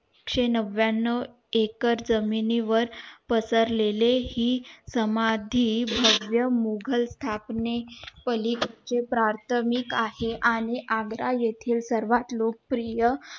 एकशे नव्याव एकर जमिनी वर पसरलेली हि समाधी भव्य मुघल स्थापने पलीकडे प्राथमिक आहे आणि आग्रा येते सर्वात लोकप्रिय